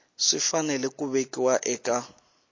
swi fanele ku vekiwa eka